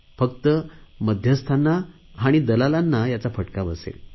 फक्त मध्यस्थांना आणि दलालांना याचा फटका बसेल